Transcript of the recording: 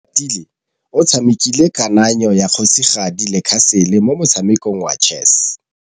Oratile o tshamekile kananyô ya kgosigadi le khasêlê mo motshamekong wa chess.